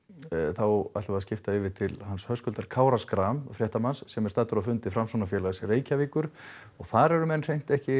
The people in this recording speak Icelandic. þá ætlum við að skipta yfir til hans Höskuldar Kára Schram fréttamanns sem er staddur á fundi Framsóknarfélags Reykjavíkur og þar eru menn hreint ekki